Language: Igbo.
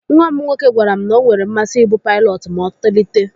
Nwa m nwoke gwara m na o nwere mmasi ibu paịlọtụ ma otolite.